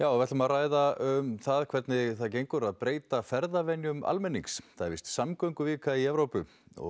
við ætlum að ræða um hvernig það gengur að breyta ferðavenjum almennings það er víst samgönguvika í Evrópu